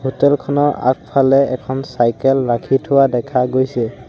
Hotel খনৰ আগফালে এখন চাইকেল ৰাখি থোৱা দেখা গৈছে।